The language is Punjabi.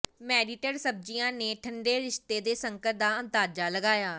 ਮੈਰਿਟਡ ਸਬਜ਼ੀਆਂ ਨੇ ਠੰਢੇ ਰਿਸ਼ਤੇ ਦੇ ਸੰਕਟ ਦਾ ਅੰਦਾਜ਼ਾ ਲਗਾਇਆ